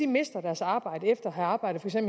mister deres arbejde efter at have arbejdet